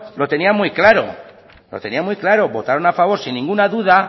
lo tenían muy claro lo tenían muy claro votaron a favor sin ninguna duda